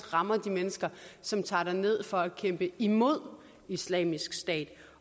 rammer de mennesker som tager derned for at kæmpe imod islamisk stat